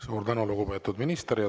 Suur tänu, lugupeetud minister!